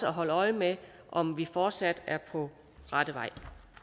holde øje med om vi fortsat er på rette vej